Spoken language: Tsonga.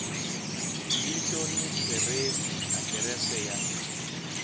vito ni khirefu adirese ya